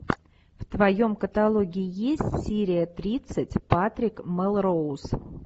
в твоем каталоге есть серия тридцать патрик мелроуз